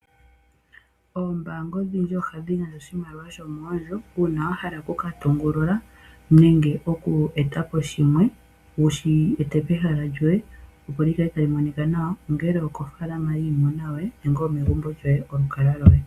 Oombaanga odhindji ohadhi gandja oshimaliwa shomoondjo uuna wahala oku katungulula nenge oku etapo shimwe, wushi ete pehala lyoye, opo likale tali monikwa nawa, ongele okofaalama yiimuna yoye nenge omegumbo lyoye polukalwa loye.